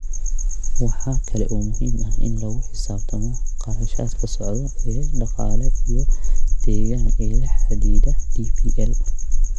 Waxa kale oo muhiim ah in lagu xisaabtamo kharashaadka socda ee dhaqaale iyo deegaan ee la xidhiidha DPL.